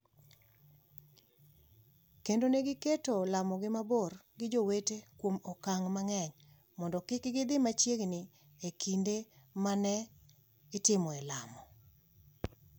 kendo ne giketo lamogi mabor gi jowetegi kuom okang' mang’eny mondo kik gidhi machiegni e kinde ma ne itimoe lamo.